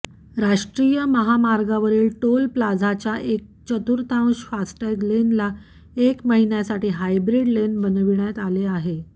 राष्ट्रीय महामार्गावरील टोल प्लाझाच्या एक चतुर्थांश फास्टॅग लेनला एक महिन्यासाठी हायब्रिड लेन बनविण्यात आले आहे